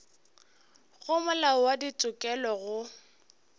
go molao wa ditokelo go